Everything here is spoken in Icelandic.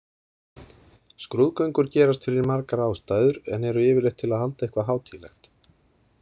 Skrúðgöngur gerast fyrir margar ástæður en eru yfirleitt til að halda eitthvað hátíðlegt.